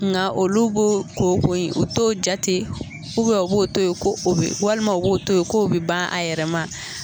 Nka olu b'o ko kogo in u t'o jate , u b'o to yen walima u b'o to yen k'o bɛ ban a yɛrɛ ma.